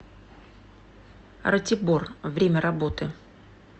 ратибор время работы